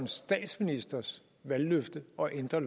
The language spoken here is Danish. statsministerens valgløfte og ændre